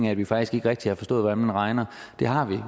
at vi faktisk ikke rigtig har forstået hvordan man regner det har vi